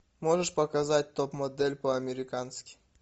можешь показать топ модель по американски